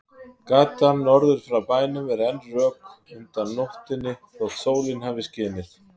Gatan norður frá bænum er enn rök undan nóttunni þótt sólin hafi skinið.